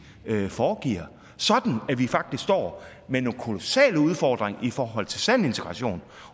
foregiver sådan at vi faktisk står med nogle kolossale udfordringer i forhold til sand integration